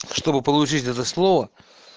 чтобы получить это слово